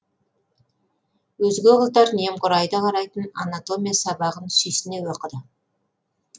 өзге қыздар немқұрайды қарайтын анатомия сабағын сүйсіне оқыды